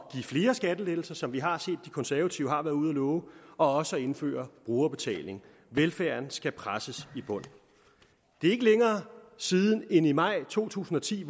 flere skattelettelser som vi har set de konservative har været ude at love og også at indføre brugerbetaling velfærden skal presses i bund det er ikke længere siden end i maj to tusind og ti